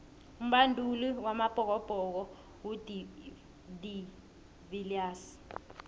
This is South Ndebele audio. umbanduli wamabhokobhoko ngu de viliers